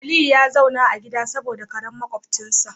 Aliyu ya zauna a gida saboda makwabcinsa karen sa